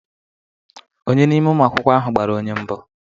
Ònye n'ime ụmụ akwụkwọ ahụ gbara onye mbụ